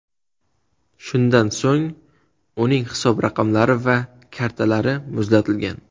Shundan so‘ng uning hisob raqamlari va kartalari muzlatilgan.